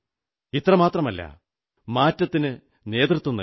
ഇത്രമാത്രമല്ല മാറ്റത്തിനു നേതൃത്വം നല്കൂ